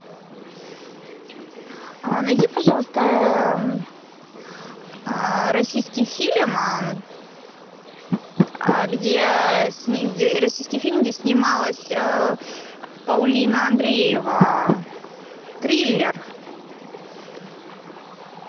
найди пожалуйста российский фильм где снималась паулина андреева триллер